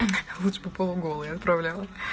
лучше попову голую я отправляла